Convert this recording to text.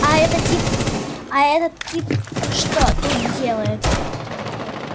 а этот тип а этот тип что тут делает